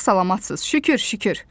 Sağ-salamatsız, şükür, şükür.